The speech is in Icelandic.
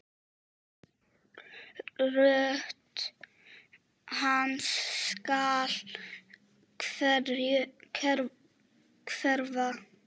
Rödd hans skal hverfa.